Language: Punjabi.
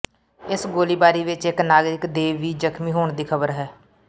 ਇਸ ਗੋਲੀਬਾਰੀ ਵਿੱਚ ਇੱਕ ਨਾਗਰਿਕ ਦੇ ਵੀ ਜਖ਼ਮੀ ਹੋਣ ਦੀ ਖ਼ਬਰ ਹੈ